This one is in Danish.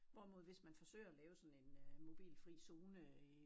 Hvorimod hvis man forsøger at lave sådan en øh mobilfri zone i